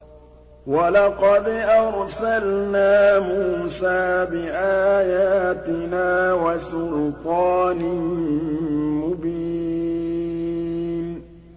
وَلَقَدْ أَرْسَلْنَا مُوسَىٰ بِآيَاتِنَا وَسُلْطَانٍ مُّبِينٍ